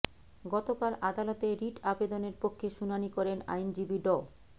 গতকাল আদালতে রিট আবেদনের পক্ষে শুনানি করেন আইনজীবী ড